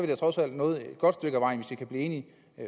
da trods alt nået et godt stykke af vejen hvis vi kan blive enige